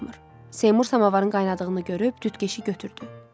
Seymur samovarın qaynadığını görüb cütkeşi götürdü.